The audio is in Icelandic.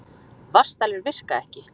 Vatnsdælur virka ekki